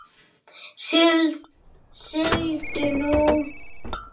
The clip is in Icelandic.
Sigldu nú.